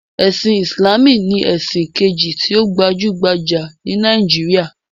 Ẹ̀sin Ìsìláàmù ni ẹ̀sìn kejì tí ó gbajúgbajà jù ní Nàíjíríà.